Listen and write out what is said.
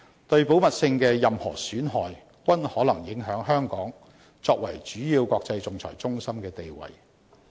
對保密性的任何損害，均可能影響香港作為主要國際仲裁中心的地位。